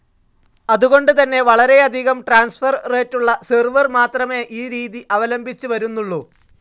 അതുകൊണ്ട് തന്നെ വളരെയധികം ട്രാൻസ്ഫർ റേറ്റുള്ള സെർവർ മാത്രമേ ഈ രീതി അവലംബിച്ച് വരുന്നുള്ളൂ.